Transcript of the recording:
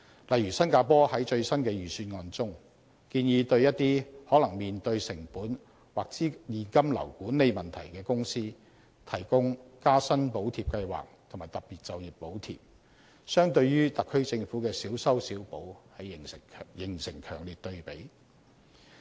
例如新加坡在最新的預算案中，建議對一些可能面對成本或現金流管理問題的公司提供"加薪補貼計劃"和"特別就業補貼"，相對於特區政府的小修小補形成強烈對比。